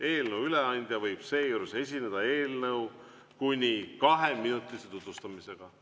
Eelnõu üleandja võib seejuures esineda eelnõu kuni kaheminutise tutvustusega.